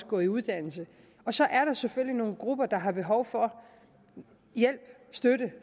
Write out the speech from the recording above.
på en uddannelse og så er der selvfølgelig nogle grupper der har behov for hjælp støtte